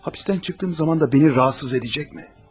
Həbsdən çıxdığım zaman da məni narahat edəcəkmi?